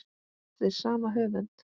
Eftir sama höfund